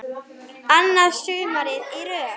Annað sumarið í röð.